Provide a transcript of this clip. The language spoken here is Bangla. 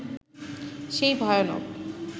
সেই ভয়ানক